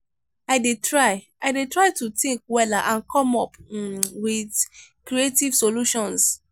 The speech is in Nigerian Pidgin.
i dey try i dey try to think wella and come up um with creative solutions.